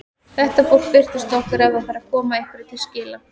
Þetta fólk birtist okkur ef það þarf að koma einhverju til skila.